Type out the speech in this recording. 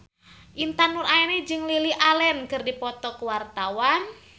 Intan Nuraini jeung Lily Allen keur dipoto ku wartawan